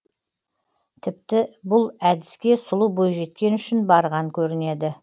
тіпті бұл әдіске сұлу бойжеткен үшін барған көрінеді